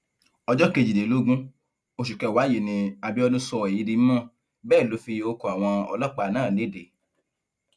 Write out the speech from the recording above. ọjọ kejìlélógún oṣù kẹwàá yìí ní abiodun sọ èyí di mímọ bẹẹ ló fi orúkọ àwọn ọlọpàá náà lédè